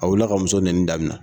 A wulila ka muso nɛni daminɛ